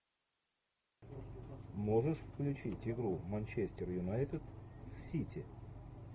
можешь включить игру манчестер юнайтед с сити